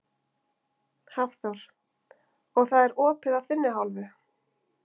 Hafþór: Og það er opið af þinni hálfu?